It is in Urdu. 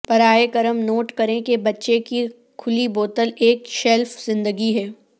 براہ کرم نوٹ کریں کہ بچہ کی کھلی بوتل ایک شیلف زندگی ہے